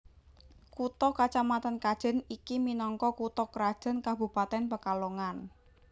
Kutha kacamatan Kajen iki minangka kutha krajan Kabupatèn Pekalongan